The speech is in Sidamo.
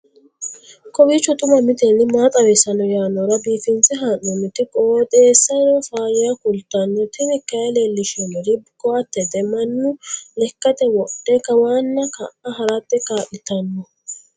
kowiicho xuma mtini maa xawissanno yaannohura biifinse haa'noonniti qooxeessano faayya kultanno tini kayi leellishshannori koattete mannu lekkate wodhe kawanna ka'a harate kaa'litanno